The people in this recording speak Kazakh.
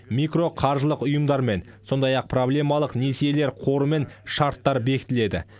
микроқаржылық ұйымдармен сондай ақ проблемалық несиелер қорымен шарттар бекітіледі